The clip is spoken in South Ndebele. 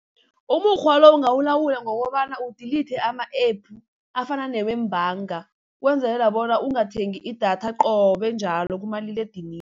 Umukghwa lo ungawulawula ngokobana u-delete ama-App afana newe iimbhanga, kwenzelela bona ungathengi i-data qobe njalo kumaliledinini.